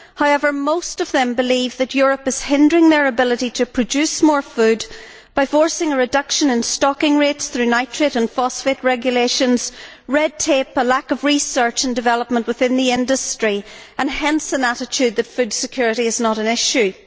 However, most of them believe that Europe is hindering their ability to produce more food by forcing a reduction in stocking rates through nitrate and phosphate regulations, red tape, a lack of research and development within the industry, and hence an attitude that food security is not an issue.